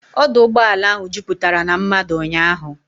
Ọdụ ụgbọala ahụ juputara na mmadụ ụnyaahụ.